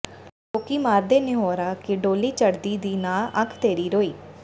ਲੋਕੀਂ ਮਾਰਦੇ ਨਿਹੋਰਾ ਕਿ ਡੋਲੀ ਚਡ਼੍ਹਦੀ ਦੀ ਨਾ ਅੱਖ ਤੇਰੀ ਰੋਈ